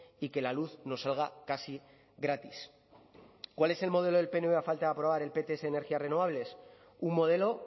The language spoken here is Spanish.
y que la luz nos salga casi gratis cuál es el modelo del pnv a falta de aprobar el pts de energías renovables un modelo